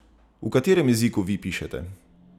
V katerem jeziku vi pišete?